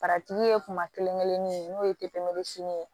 ye kuma kelen kelennin ye n'o ye ye